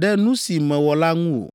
Ɖe nu si mewɔ la ŋu o.